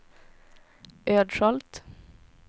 Ödskölt